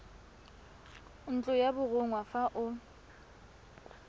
ntlo ya borongwa fa o